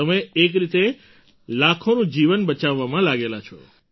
તમે એક રીતે લાખોનું જીવન બચાવવામાં લાગેલા છો